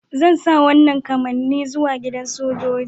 Zan sa wanan kamanni gobe zuwa gidan sojoji.